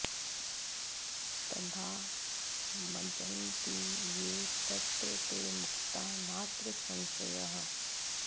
तदा मज्जन्ति ये तत्र ते मुक्ता नात्र संशयः